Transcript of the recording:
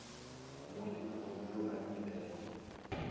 mo lelokong yo a ilego